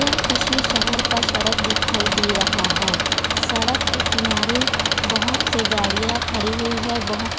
यह किसी शहर का सड़क दिखाई दे रहा है सड़क के किनारे बहोत से गाड़ियां खडी हुई है बहोत --